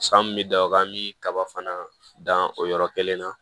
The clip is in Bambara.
San mun mɛ da o kan an bɛ kaba fana dan o yɔrɔ kelen na